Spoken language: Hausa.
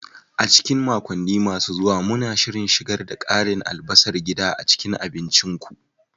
A cikin makonni masu zuwa, muna shirin shigar da karin albasar gida a cikin abincinku.